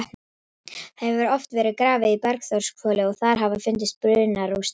Það hefur oft verið grafið á Bergþórshvoli og þar hafa fundist brunarústir.